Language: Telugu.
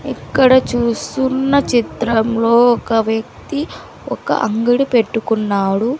ఇక్కడ చూస్తున్న చిత్రంలో ఒక వ్యక్తి ఒక అంగిడి పెట్టుకున్నాడు.